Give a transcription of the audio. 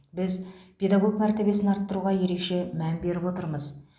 біз педагог мәртебесін арттыруға ерекше мән беріп отырмыз